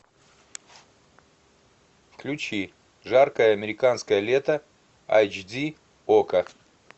включи жаркое американское лето айч ди окко